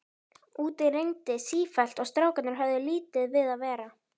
Úti rigndi sífellt og strákarnir höfðu lítið við að vera.